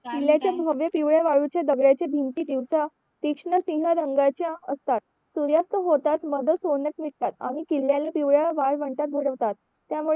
किल्याच्या भव्य दिव्या वाळूच्या दगड्याच्या भिंती दिवस तीष्ण सिंह रंगाचे असतात सूर्यास्त होताच मध्येच सोनेत दिसतात आणि किल्ल्याला पिवळ्या वाळवंटांत बुडवतात